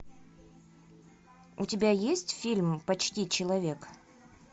у тебя есть фильм почти человек